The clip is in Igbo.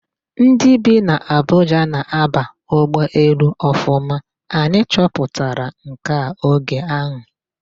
Ndị bi n'Abuja na-aba ụgbọelu Ọfụma, anyị chọpụtara nke a oge ahụ.